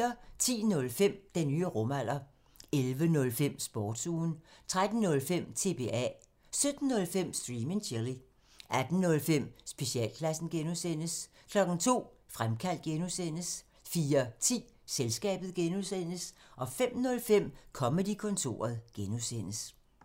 10:05: Den nye rumalder 11:05: Sportsugen 13:05: TBA 17:05: Stream and chill 18:05: Specialklassen (G) 02:00: Fremkaldt (G) 04:10: Selskabet (G) 05:05: Comedy-kontoret (G)